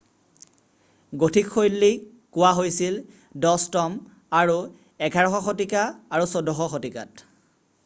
Gothic শৈলী কোৱা হৈছিল 10ম আৰু 11শ শতিকা আৰু 14শ শতিকাত